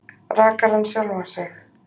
Rakar hann sjálfan sig?